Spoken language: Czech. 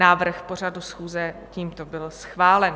Návrh pořadu schůze tímto byl schválen.